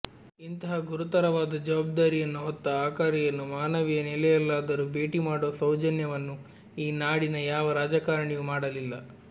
ಇಂತಹ ಗುರುತರವಾದ ಜವಾಬ್ದಾರಿಯನ್ನು ಹೊತ್ತ ಅಕಾರಿಯನ್ನು ಮಾನವೀಯ ನೆಲೆಯಲ್ಲಾದರೂ ಭೇಟಿಮಾಡುವ ಸೌಜನ್ಯವನ್ನು ಈ ನಾಡಿನ ಯಾವ ರಾಜಕಾರಣಿಯೂ ಮಾಡಲಿಲ್ಲ